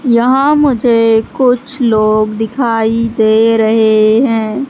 यहां मुझे कुछ लोग दिखाई दे रहे हैं।